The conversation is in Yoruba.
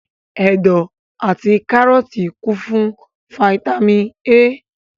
Ẹ̀dọ̀ àti kárọ́tì kún fún fataímìn A.